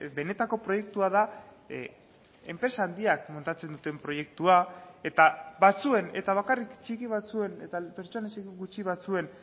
benetako proiektua da enpresa handiak montatzen duten proiektua eta batzuen eta bakarrik txiki batzuen eta pertsona gutxi batzuen